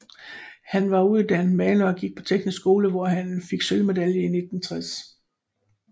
Han var uddannet maler og gik på Teknisk skole hvor han fik sølvmedalje i 1960